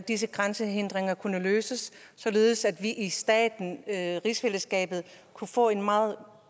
disse grænsehindringer kunne løses således at man i rigsfællesskabet kunne få en meget